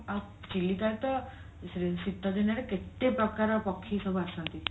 ଆଉ ଚିଲିକାରେ ତ ଶୀତଦିନରେ କେତେ ପ୍ରକାର ପକ୍ଷୀ ସବୁ ଆସନ୍ତି